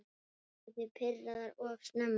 Urðu þið pirraðar of snemma?